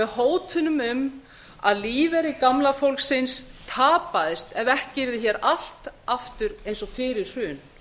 hótunum um að lífeyrir gamla fólksins tapaðist ef ekki yrði hér allt aftur eins og fyrir hrun